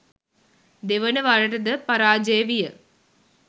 දෙවන වරටද පරාජය විය.